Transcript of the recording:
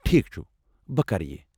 ٹھیٖک چھٗ، بہٕ کرٕ یہِ۔